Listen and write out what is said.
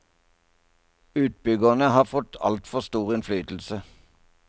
Utbyggerne har fått altfor stor innflytelse.